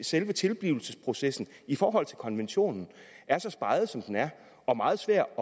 selve tilblivelsesprocessen i forhold til konventionen er så speget som den er og meget svær